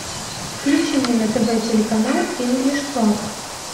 включи мне на тв телеканал инглиш клаб